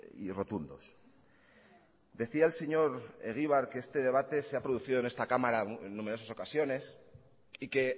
y rotundos decía el señor egibar que este debate se ha producido en esta cámara en numerosas ocasiones y que